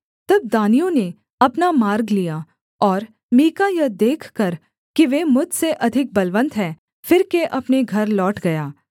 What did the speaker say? तब दानियों ने अपना मार्ग लिया और मीका यह देखकर कि वे मुझसे अधिक बलवन्त हैं फिरके अपने घर लौट गया